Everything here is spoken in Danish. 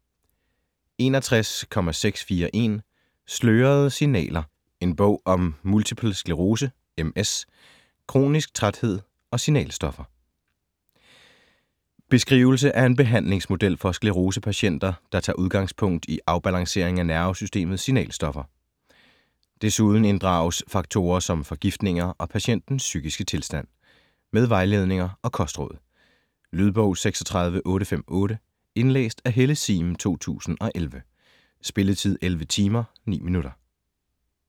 61.641 Slørede signaler: en bog om multipel sclerose (MS), kronisk træthed og signalstoffer Beskrivelse af en behandlingsmodel for sklerosepatienter, der tager udgangspunkt i afbalancering af nervesystemets signalstoffer. Desuden inddrages faktorer som forgiftninger og patientens psykiske tilstand. Med vejledninger og kostråd. Lydbog 36858 Indlæst af Helle Sihm, 2011. Spilletid: 11 timer, 9 minutter.